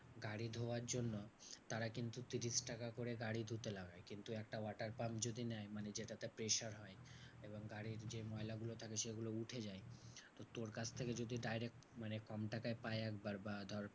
গাড়ি ধোয়ার জন্য তারা কিন্তু ত্রিশ টাকা করে গাড়ি ধুতে লাগে। কিন্তু একটা water pump যদি নেয় মানে যেটাতে pressure হয় এবং গাড়ির যে ময়লাগুলো থাকে সেগুলো উঠে যায়। তোর কাছ থেকে যদি direct মানে pump টা কে পায় একবার বা ধর